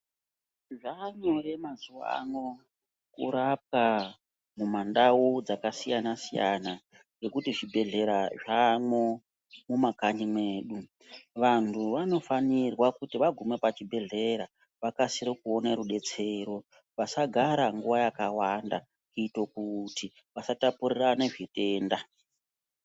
Zvaanyore mazuva ano kurapwa mumandau dzakasiyana siyana nekuti zvibhedhlera zvaamwo mumakanyi mwedu, vantu vanofanirwa kuti aguma pachibhedhlera vakasire kuona rubetsero, vasagara nguva yakawanda kuite kuti vasatapurirana zvitenda.